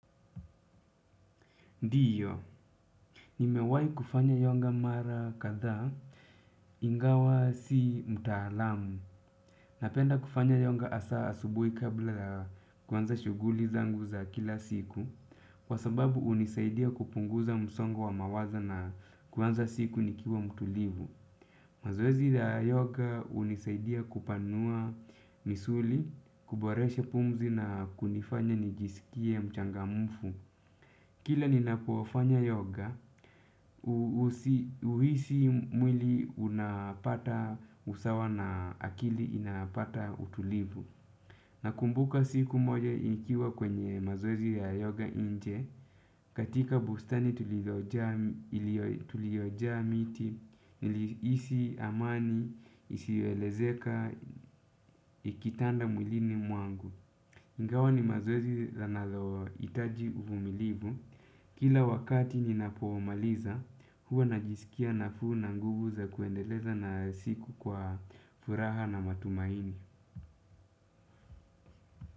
Ndiyo, nimewahi kufanya yoga mara kadhaa, ingawa si mtaalamu. Napenda kufanya yonga hasa asubuhi kabla kuanza shuguli zangu za kila siku, kwa sababu hunisaidia kupunguza msongo wa mawazo na kuanza siku nikiwa mtulivu. Mazoezi ya yoga hunisaidia kupanua misuli, kuboresha pumzi na kunifanya nijiskie mchangamfu. Kila ninapufanya yoga, uhisi mwili unapata usawa na akili inapata utulivu. Nakumbuka siku moja nikiwa kwenye mazoezi ya yoga nje, katika bustani tulioja miti, nilihisi amani, isioelezeka, ikitanda mwilini mwangu. Ingawa ni mazoezi yanalohitaji uvumilivu. Kila wakati ninapoumaliza, huwa najiskia nafuu na nguvu za kuendeleza na siku kwa furaha na matumaini.